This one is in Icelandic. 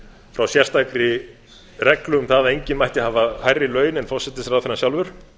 frá sérstakri reglu um það að enginn mætti hafa hærri laun en forsætisráðherrann sjálfur